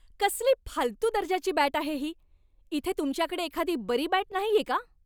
कसली फालतू दर्जाची बॅट आहे ही. इथे तुमच्याकडे एखादी बरी बॅट नाहीये का?